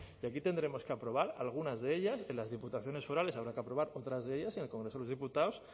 y aquí tendremos que aprobar algunas de ellas que las diputaciones forales habrá que aprobar otras de ellas en el congreso de los diputados